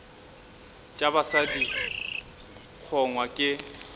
tša basadi di kgongwa ke